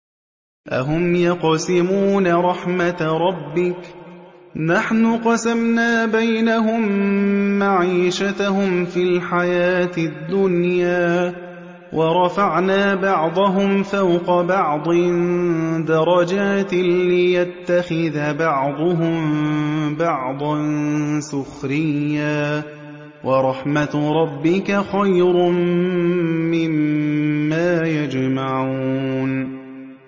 أَهُمْ يَقْسِمُونَ رَحْمَتَ رَبِّكَ ۚ نَحْنُ قَسَمْنَا بَيْنَهُم مَّعِيشَتَهُمْ فِي الْحَيَاةِ الدُّنْيَا ۚ وَرَفَعْنَا بَعْضَهُمْ فَوْقَ بَعْضٍ دَرَجَاتٍ لِّيَتَّخِذَ بَعْضُهُم بَعْضًا سُخْرِيًّا ۗ وَرَحْمَتُ رَبِّكَ خَيْرٌ مِّمَّا يَجْمَعُونَ